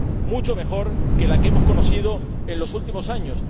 mucho mejor que la que hemos conocido en los últimos años.